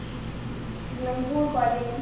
এগুলা গুড় করে।